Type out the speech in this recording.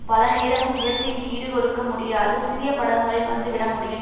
பல நேரமும் இயற்கைக்கு ஈடு கொடுக்க முடியாத சிறிய படகுகளில் வந்து விட முடியும்